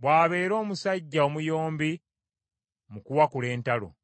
bw’abeera omusajja omuyombi mu kuwakula entalo.